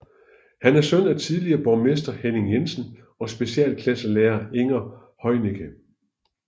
Han er søn af tidligere borgmester Henning Jensen og specialklasselærer Inger Heunicke